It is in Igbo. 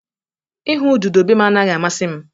Ịhụ ududo be m anaghị amasị m